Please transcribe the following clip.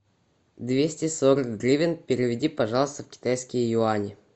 двести сорок гривен переведи пожалуйста в китайские юани